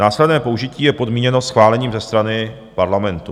Následné použití je podmíněno schválením ze strany parlamentu.